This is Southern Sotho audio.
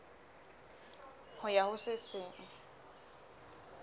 ho ya ho se seng